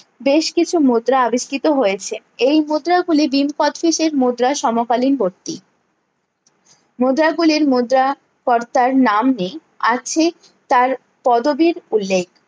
বেশ কিছু মুদ্রা আবিষ্কৃত হয়েছে এই মুদ্রা গুলি ভীম মুদ্রা সমকালীনবর্তী মুদ্রা গুলির মুদ্রা কর্তার নাম নেই আছে তার পদবীর উল্লেখ